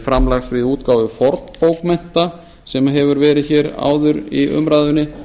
framlags við útgáfu fornbókmennta sem hefur verið áður í umræðunni